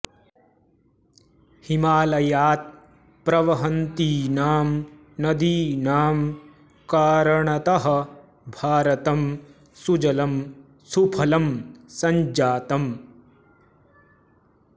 हिमालयात् प्रवहन्तीनां नदीनां कारणतः भारतं सुजलं सुफलं सञ्जातम्